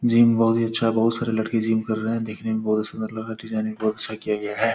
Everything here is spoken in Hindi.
जिम बहोत ही अच्छा है बहोत सारे लड़के जिम कर रहे हैं देखने में बहोत अच्छा सुन्दर लग रहा है डिजाइनिंग बहोत अच्छा किया गया है।